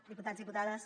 diputats diputades